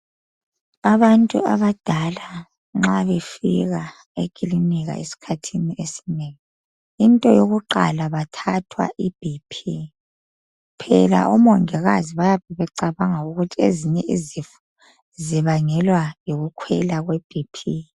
Abantu abadala nxa befika ekilinika esikhathini esinengi into yokuqala kuthathwa I BP phela omongikazi bayabe becabanga ukuthi ezinye izifo zibangelwa yikukhwela kwe BP